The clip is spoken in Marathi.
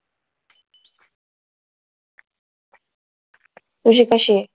तुझी कधी आहे?